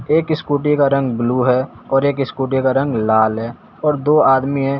एक स्कूटी का रंग ब्लू है और एक स्कूटी का रंग लाल है और दो आदमी हैं।